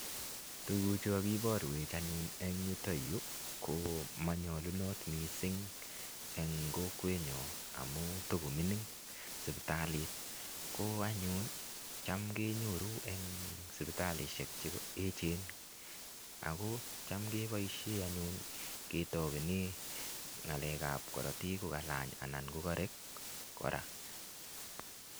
Tuguchu kakibaruech eng yuto yu ko manyalunot mising eng kokwenyo amu takomining sipitalit ko anyun cham kenyoru eng sipitalisiek che eechen ago cham keboisie anyun ketapene ngalekab korotik ko kalany ana ko karek kora.